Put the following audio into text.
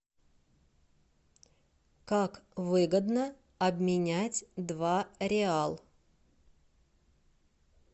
как выгодно обменять два реал